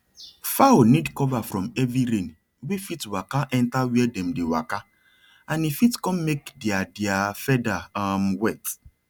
fowl need cover from heavy rain wey fit waka enter where dem dey waka and e fit come make their their feather um wet